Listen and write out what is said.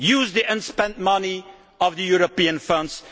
use the unspent money of the European funds